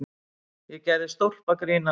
Ég gerði stólpagrín að